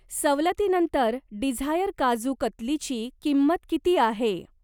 सवलतीनंतर डिझायर काजू कतलीची किंमत किती आहे?